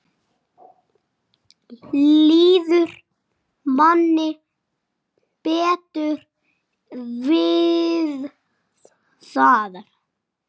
Líður manni betur við það?